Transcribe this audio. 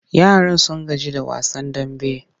Yaran sun gaji da wasan damben.